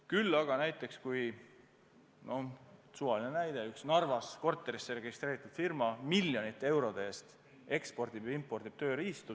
Küll aga peab kontrollima – suvaline näide –, kui mingi Narvas korterisse registreeritud firma miljonite eurode eest ekspordib ja impordib tööriistu.